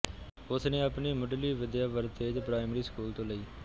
ਉਸਨੇ ਆਪਣੀ ਮੁੱਢਲੀ ਵਿਦਿਆ ਵਰਤੇਜ ਪ੍ਰਾਇਮਰੀ ਸਕੂਲ ਤੋਂ ਲਈ